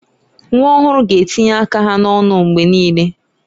Nwa ọhụrụ ga-etinye aka ha n'ọnụ mgbe niile.